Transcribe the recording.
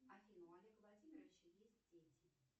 афина у олега владимировича есть дети